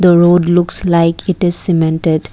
road looks like it is cemented.